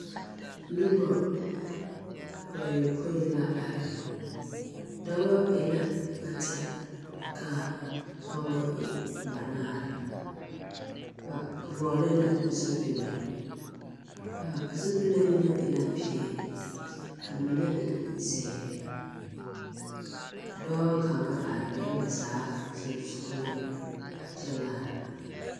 Nobɔ bayɔpõĩ la are. Dɔbɔ e la bata ka pɔɔbɔ e banaare. Ba vɔgele la zupile, a zupile mine e la peɛle ka mine e zeere. A dɔɔ kaŋa arɛɛ ba zaa sonsogleŋ a kyɛ laara.